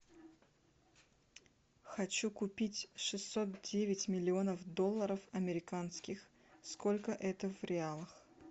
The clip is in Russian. хочу купить шестьсот девять миллионов долларов американских сколько это в реалах